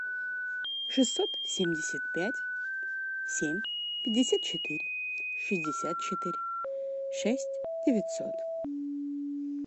шестьсот семьдесят пять семь пятьдесят четыре шестьдесят четыре шесть девятьсот